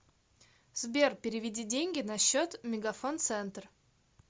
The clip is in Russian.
сбер переведи деньги на счет мегафон центр